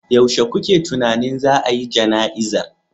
Yaushe kuke tunanin za a yi jana'izar